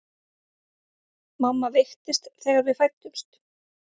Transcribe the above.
Mamma veiktist þegar við fæddumst.